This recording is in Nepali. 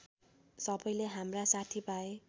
सबैले हाम्रा साथीभाइ